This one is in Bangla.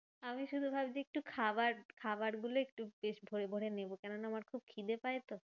আমি শুধু ভাবছি একটু খাবার খাবার গুলো একটু বেশ ভোরে ভোরে নেবো। কেননা আমার খুব খিদে পায় তো।